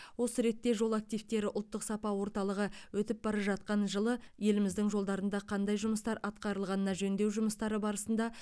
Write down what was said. осы ретте жол активтері ұлттық сапа орталығы өтіп бара жатқан жылы еліміздің жолдарында қандай жұмыстар атқарылғанына жөндеу жұмыстары барысында